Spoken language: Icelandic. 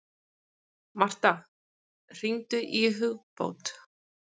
Martha, hringdu í Hugbót.